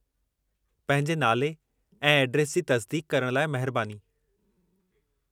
पंहिंजे नाले ऐं एड्रेस जी तसिदीक़ करण लाइ महिरबानी।